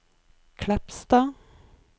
Kleppstad